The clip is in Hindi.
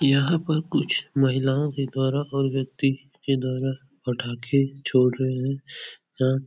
यहाँ पर कुछ महिलाओ के द्वारा और व्यक्ति के द्वारा पटाखे छोड़ रहे हैं। यहाँ --